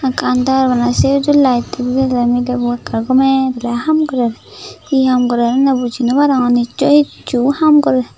ekka andar maneh sei uju layetto didey milebo ekkorey gomey daley haam gorer he haam gorer eney buji naw arongor nicchoi hissu haam gorer.